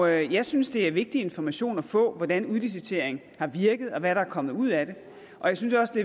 jeg synes det er en vigtig information at få hvordan udlicitering har virket og hvad der er kommet ud af det jeg synes også det